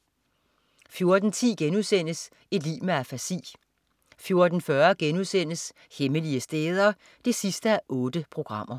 14.10 Et liv med afasi* 14.40 Hemmelige steder 8:8*